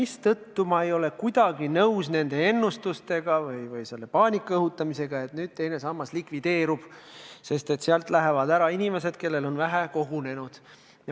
Seetõttu ma ei ole kuidagi nõus nende ennustustega või selle paanika õhutamisega, et nüüd teine sammas likvideerub, sest sealt lähevad ära inimesed, kellel on vähe raha kogunenud.